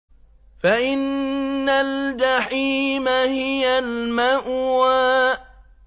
فَإِنَّ الْجَحِيمَ هِيَ الْمَأْوَىٰ